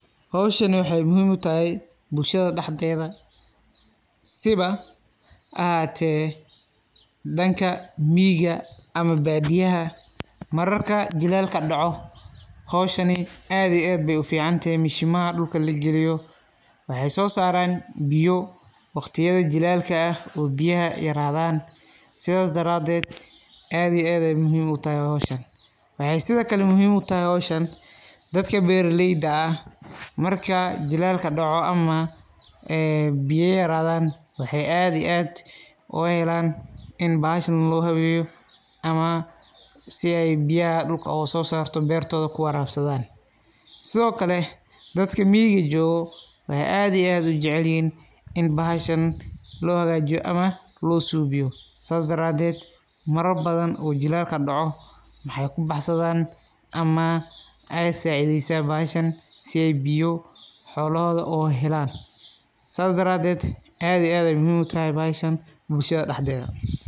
Howshani waxee muhiim utahay bulshada dhaxdeeda, siiba ha ahaate dhanka miiga ama baadiyaha mararka jilaalka dhaco howshani aad iyo aad bay ufiicantahay mashimaha dhulka lagaliyo waxee soo saraan biyo waqtiyada jilaalka ah oo biyaha yaraadan sidaa daraadeed aad iyo aad bee muhiim utahay howshan. Waxee sida kale muhiim utahay dadka beeraleyda ah marka jilaalka dhaco ama ee biya yaraadan waxee aad aad uga helaan in bahashan loo habeeyo ama si ay biyaha dhulka uga soo saarto beertoda ku waraabsadan sido kale dadka miiga joogo waxee aad iyo aad ujacelyihhin in bahashan loo hagaajiyo ama loo suubiyo, Saas daraadeed marar badan oo jilaalka dhaco waxee kubaxsadan ama ee saacideysa bahashan si oo biyo xoolohooda ugu helaan saas daraadeed aad iyo aad bey muhiim utahay bahashan bulshada dhaxdeeda.